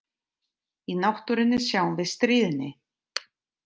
Í náttúrunni sjáum við stríðni.